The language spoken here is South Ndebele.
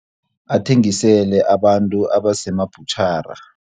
Athengisele abantu abasemabhutjhara.